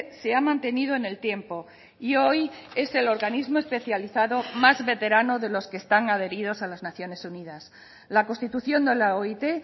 se ha mantenido en el tiempo y hoy es el organismo especializado más veterano de los que están adheridos a las naciones unidas la constitución de la oit